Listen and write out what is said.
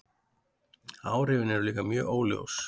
Áhrifin eru líka mjög óljós.